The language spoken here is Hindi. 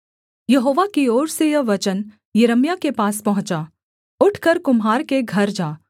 यहोवा की ओर से यह वचन यिर्मयाह के पास पहुँचा उठकर कुम्हार के घर जा